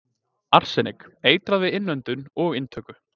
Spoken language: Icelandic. Arsenik- Eitrað við innöndun og inntöku.